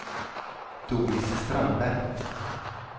Doris Strandberg